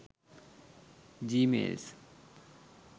gmails